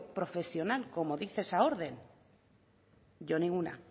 profesional como dice esa orden yo ninguna